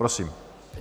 Prosím.